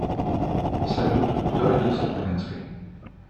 салют кто родился в каменской